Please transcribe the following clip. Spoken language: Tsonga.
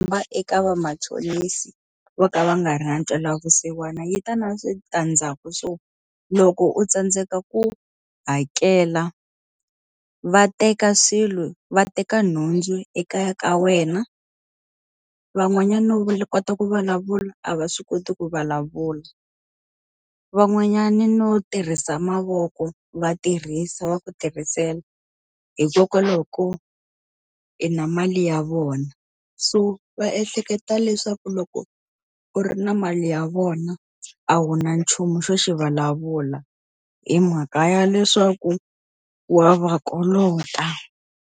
Eka vamachonisi vo ka va nga ra ntwela vusiwana yi ta na switandzhaku swo loko u tsandzeka ku hakela, va teka swilo va teka nhundzu ekaya ka wena. Van'wanyana no kota ku vulavula, a va swi koti ku vulavula. Van'wanyana no tirhisa mavoko va tirhisa va ku tirhisela, hikokwalaho ko i na mali ya vona. So va ehleketa leswaku loko ku ri na mali ya vona a wu na nchumu xo xi vulavula, hi mhaka ya leswaku wa va kolota.